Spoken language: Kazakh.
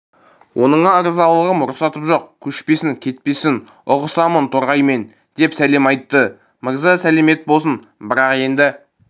оныңа ырзалығым рұқсатым жоқ көшпесін кетпесін ұғысамын торғаймен деп сәлем айтты мырза сәлемет болсын бірақ енді